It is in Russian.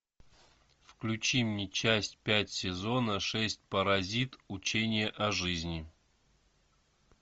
включи мне часть пять сезона шесть паразит учение о жизни